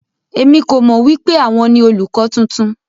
Èmi kò mọ wipe àwọn ni olùkọ tuntun.